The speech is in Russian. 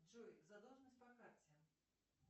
джой задолженность по карте